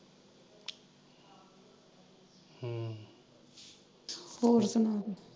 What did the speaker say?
ਹੋਰ ਸੁਣਾ ਤੂੰ।